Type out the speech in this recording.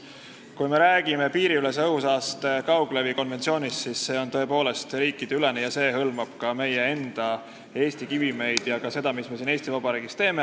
Kui me räägime piiriülese õhusaaste kauglevi konventsioonist, siis see on tõesti riikideülene ja hõlmab ka meie enda kivimeid ja ka seda, mis me siin Eesti Vabariigis teeme.